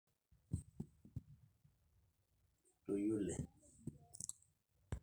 tenisul ilgosil kutitik ,ntumia egiret nidung sentimitani imiet elamita empolos